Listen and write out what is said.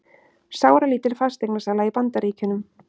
Sáralítil fasteignasala í Bandaríkjunum